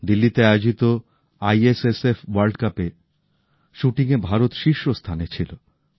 দিল্লিতে আয়োজিত ISSF world কাপে শুটিং এ ভারত শীর্ষ স্থানে ছিল